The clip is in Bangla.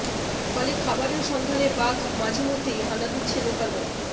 ফলে খাবারের সন্ধানে বাঘ মাঝে মধ্যেই হানা দিচ্ছে লোকালয়ে